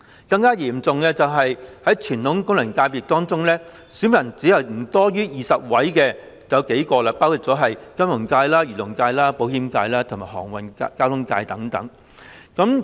更嚴重的是，在傳統功能界別中，有數個只有不多於20名選民，包括金融界、漁農界、保險界和航運交通界等。